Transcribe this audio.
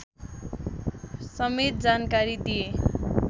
समेत जानकारी दिए